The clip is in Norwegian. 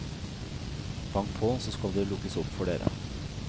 Bank på, så skal det lukkes opp for dere.